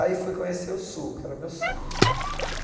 Aí fui conhecer o Sul, que era o meu sonho.